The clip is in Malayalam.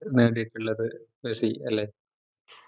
നേടിയിട്ട്ള്ളത് റഫി അല്ലെ